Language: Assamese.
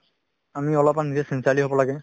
আমি অলপমান নিজে sincerely হ'ব লাগে